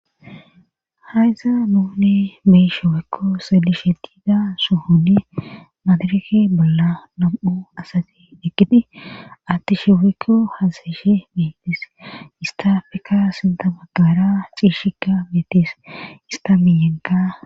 haysa nuune beyisho wekko seeli sheqida suhuni maadarake bolla nam7u asati ekidi atti shiwekko hasayishe metis istafeka sinta magara ciishika meetes istamiyenka